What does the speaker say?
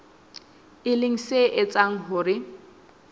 e leng se etsang hore